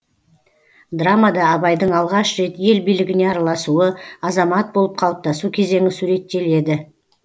драмада абайдың алғаш рет ел билігіне араласуы азамат болып қалыптасу кезеңі суреттеледі